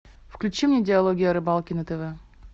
включи мне диалоги о рыбалке на тв